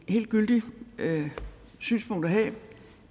helt gyldigt synspunkt at have